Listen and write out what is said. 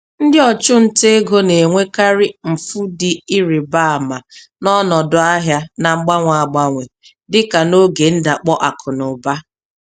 Ndị ọchụnta ego na-enwekarị mfu dị ịrị ba ama n'ọnọdụ ahịa na-agbanwe agbanwe, dị ka n'oge ndakpọ akụnụba.